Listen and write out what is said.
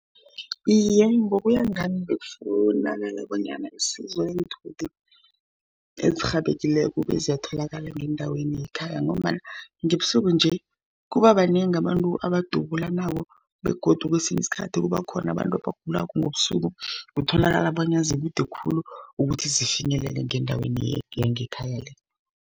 Iye, ngokuya ngami bekufunakala, bonyana isizo leenthuthi ezirhabekileko beziyatholakala ngendaweni yekhaya, ngombana ngebusuku nje, kuba banengi abantu abadubulanako, begodu kwesinye isikhathi kuba khona abantu abagulako ngobusuku. Kutholakala bonyana zikude khulu ukuthi zifinyelele ngendaweni yangekhaya le.